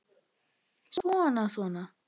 Svona. svona